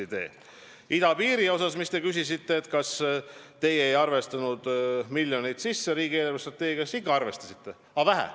Mis puutub idapiiri, mille kohta te ka küsisite – et kas te siis ei arvestanud neid miljoneid riigi eelarvestrateegiasse sisse –, siis ikka arvestasite, aga vähe.